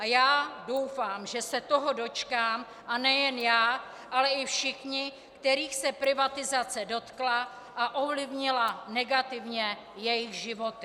A já doufám, že se toho dočkám, a nejen já, ale i všichni, kterých se privatizace dotkla a ovlivnila negativně jejich životy.